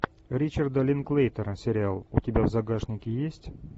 ричарда линклейтера сериал у тебя в загашнике есть